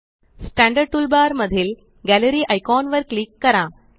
standard tool bar मधील gallery icon वर click करा